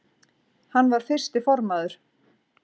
Hann var fyrsti formaður